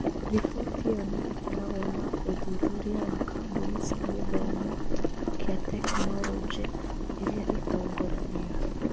Riboti ĩyo nĩ ĩkoragwo na ũthuthuria wa kambuni cia gĩthomo kĩa tekinoronjĩ iria itongoragia.